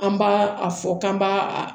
An b'a a fɔ k'an b'a a